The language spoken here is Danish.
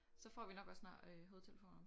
Så får vi nok også snart øh hovedtelefonerne